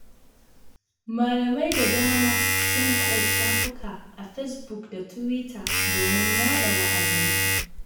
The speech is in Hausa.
Malamai da dama suna hada shafuka a Fesbuk da Tiwita domin yaɗa wa'azinsu.